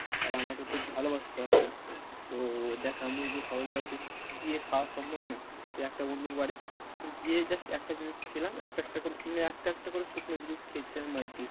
তারা আমাকে খুব ভালোবাসতো আর কি তো দেখ আমি তো সবার বাড়িতে গিয়ে খাওয়া সম্বব নয় তো একটা বন্ধুর বাড়ি গিয়ে just একটা জিনিস খেলাম একটা একটা করে, একটা একটা করে শুকনো জিনিস খেয়েছিলাম আর কি